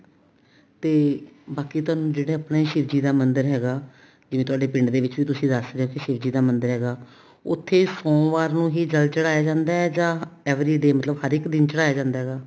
ਤੇ ਬਾਕੀ ਤੁਹਾਨੂੰ ਜਿਹੜੇ ਆਪਣੇ ਸ਼ਿਵ ਜੀ ਦਾ ਮੰਦਿਰ ਹੈਗਾ ਜਿਵੇਂ ਤੁਹਾਡੇ ਪਿੰਡ ਦੇ ਵਿੱਚ ਵੀ ਤੁਸੀਂ ਦਸ ਰਹੇ ਸੀ ਸ਼ਿਵ ਜੀ ਮੰਦਿਰ ਹੈਗਾ ਉੱਥੇ ਸੋਮਵਾਰ ਨੂੰ ਹੀ ਜਲ ਚੜਾਇਆ ਜਾਂਦਾ ਜਾਂ every day ਮਤਲਬ ਹਰ ਇੱਕ ਦਿਨ ਚੜਾਇਆ ਜਾਂਦਾ